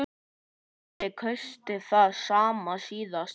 Andri: Kaustu það sama síðast?